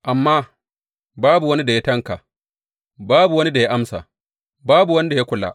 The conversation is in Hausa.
Amma babu wani da ya tanƙa, babu wani da ya amsa, babu wanda ya kula.